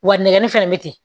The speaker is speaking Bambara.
Wa nɛgɛnni fɛnɛ bɛ ten